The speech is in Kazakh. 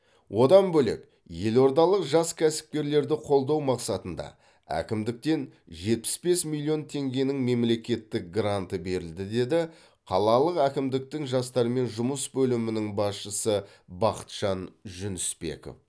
одан бөлек елордалық жас кәсіпкерлерді қолдау мақсатында әкімдіктен жетпіс бес милион теңгенің мемлекеттік гранты берілді деді қалалық әкімдіктің жастармен жұмыс бөлімінің басшысы бақытжан жүнісбеков